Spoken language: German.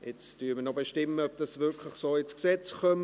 Jetzt bestimmen wir noch, ob dies wirklich so ins Gesetz kommt.